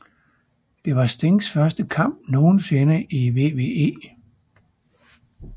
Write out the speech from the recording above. Det var Stings første kamp nogensinde i WWE